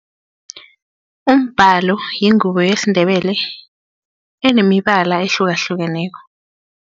Umbhalo yingubo yesiNdebele enemibala ehlukahlukeneko.